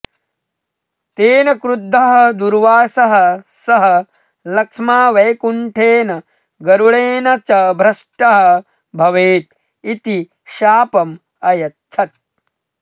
तेन क्रुद्धः दूर्वासः सः लक्ष्मा वैकुण्ठेन गरुडेन च भ्रष्टः भवेत् इति शापम् अयच्छत्